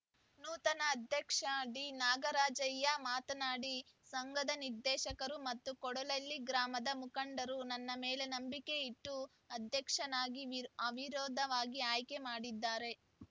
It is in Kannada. ನೂತನ ಅಧ್ಯಕ್ಷ ಡಿನಾಗರಾಜಯ್ಯ ಮಾತನಾಡಿ ಸಂಘದ ನಿರ್ದೇಶಕರು ಮತ್ತು ಕೋಡ್ಲಹಳ್ಳಿ ಗ್ರಾಮದ ಮುಖಂಡರು ನನ್ನ ಮೇಲೆ ನಂಬಿಕೆ ಇಟ್ಟು ಅಧ್ಯಕ್ಷನಾಗಿ ವಿ ಅವಿರೋಧವಾಗಿ ಆಯ್ಕೆ ಮಾಡಿದ್ದಾರೆ